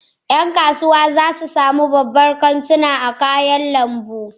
Yan kasuwa za su sami sababbin kantuna a cikin sabuwar kasuwar kayan lambu.